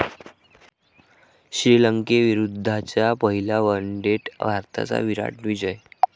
श्रीलंकेविरुद्धच्या पहिल्या वनडेत भारताचा 'विराट' विजय